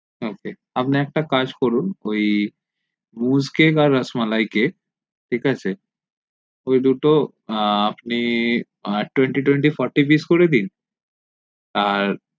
ok আপনে একটা কাজ করুন ওই বুশ কেক আর রসমালাই কেক ঠিক আছে ওই দুটো আ আপনি twenty twenty fourteen price করে দিন আর